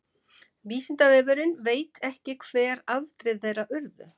vísindavefurinn veit ekki hver afdrif þeirra urðu